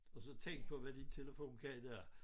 Og så tænk på hvad din telefon kan i dag